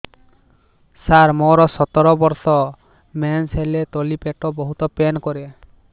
ସାର ମୋର ସତର ବର୍ଷ ମେନ୍ସେସ ହେଲେ ତଳି ପେଟ ବହୁତ ପେନ୍ କରେ